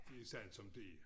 De sat som de